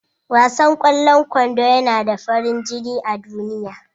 Wasan ƙwallon kwando yana da farin jini a duniya.